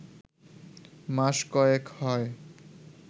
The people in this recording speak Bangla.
মাস কয়েক হয়